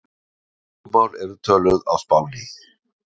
hvaða tungumál eru töluð á spáni